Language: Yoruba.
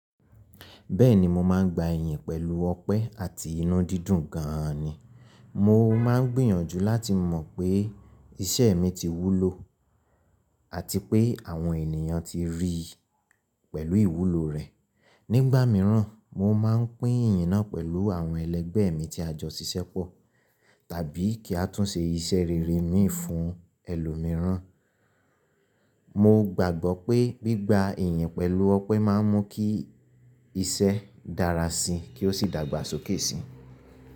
Bẹ́ẹ̀ni, mo máa ń gba iyìn pẹ̀lú ọpẹ́ àti inú dídùn gan ni. Mo máa ń gbìyànjú láti mọ̀ pé iṣẹ́ mi ti wúlò àti pé àwọn ènìyàn ti ríi pẹ̀lú ìwúlò rẹ̀. Nígbà míràn, mo máa ń pín ìyìn náà pẹ̀lú àwọn ẹlẹgbẹ́ mi tí a jọ ṣiṣẹ́ pọ̀, tàbí kí a tún ṣe iṣẹ́ rere mi fún ẹlòmíràn. Mo gbàgbọ́ pé gbígba iyìn pẹ̀lú ọpẹ́ máa ń mú kí iṣẹ́ dára si kí ó sì dàgbàsókè si.